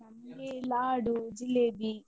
ನಮ್ಗೆ ಲಾಡು, ಜಿಲೇಬಿ.